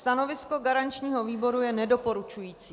Stanovisko garančního výboru je nedoporučující.